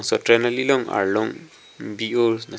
so train ali arlong bi oh lasi --